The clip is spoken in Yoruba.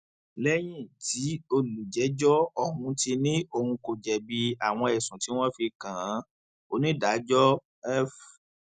lẹyìn tí olùjẹjọ ọhún ti ní òun kò jẹbi àwọn ẹsùn tí wọn fi kàn án onídàájọ f